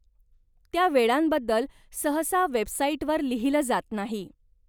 त्या वेळांबद्दल सहसा वेबसाईटवर लिहिलं जात नाही.